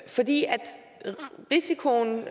fordi risikoen